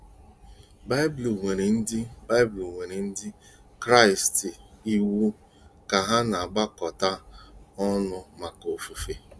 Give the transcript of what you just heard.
BAỊBỤL nyere Ndị BAỊBỤL nyere Ndị Kraịst iwu ka ha na-agbakọta ọnụ maka ofufe.